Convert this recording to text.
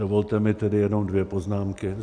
Dovolte mi tedy jenom dvě poznámky.